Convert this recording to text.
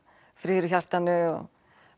friður í hjartanu og